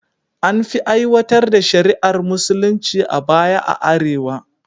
An fi aiwatar da shari’ar musulunci a baya a arewa